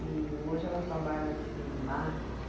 E hoje ela trabalha com marketing.